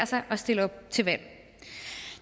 sig og stille op til valg